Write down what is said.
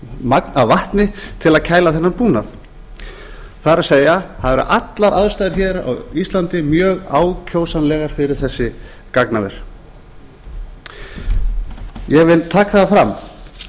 magn af vatni til að kæla þennan búnað það er það eru allar aðstæður hér á íslandi mjög ákjósanlegar fyrir þessi gagnaver ég vil taka það fram